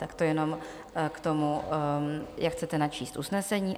Tak to jenom k tomu, jak chcete načíst usnesení.